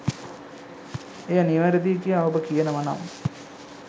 එය නිවැරදියි කියා ඔබ කියනවනම්